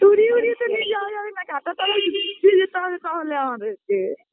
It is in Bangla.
তো উড়ি উড়িয়ে তো নিয়ে যাওয়া যাবে না কাঁটাতলার নিচ দিয়ে যেতে হবে তাহলে আমাদেরকে